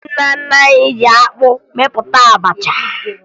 Ndị nna nna anyị ji akpụ mepụta abacha